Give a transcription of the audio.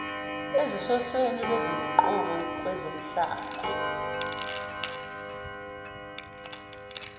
ezisohlelweni lwezinguquko kwezomhlaba